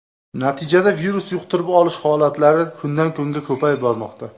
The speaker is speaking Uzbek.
Natijada virus yuqtirib olish holatlari kundan kunga ko‘payib bormoqda.